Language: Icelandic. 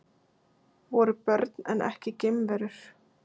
Voru börn en ekki geimverur